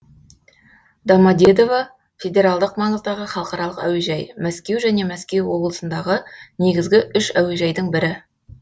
домоде дово федералдық маңыздағы халықаралық әуежай мәскеу және мәскеу облысындағы негізгі үш әуежайдың бірі